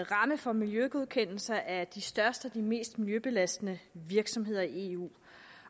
ramme for miljøgodkendelser af de største og de mest miljøbelastende virksomheder i eu